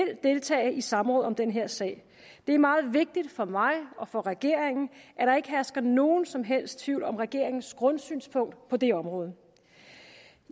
deltage i samråd om den her sag det er meget vigtigt for mig og for regeringen at der ikke hersker nogen som helst tvivl om regeringens grundsynspunkt på det område